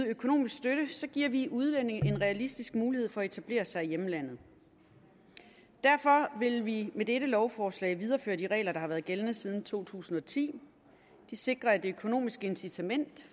økonomisk støtte giver vi udlændinge en realistisk mulighed for at etablere sig i hjemlandet derfor vil vi med dette lovforslag videreføre de regler der har været gældende siden to tusind og ti de sikrer at det økonomiske incitament